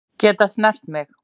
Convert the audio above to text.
Geta snert mig.